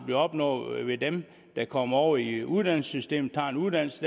bliver opnået ved at dem der kommer over i uddannelsessystemet tager en uddannelse